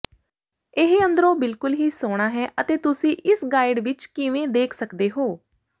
ਇਹ ਅੰਦਰੋਂ ਬਿਲਕੁਲ ਹੀ ਸੋਹਣਾ ਹੈ ਅਤੇ ਤੁਸੀਂ ਇਸ ਗਾਈਡ ਵਿਚ ਕਿਵੇਂ ਦੇਖ ਸਕਦੇ ਹੋ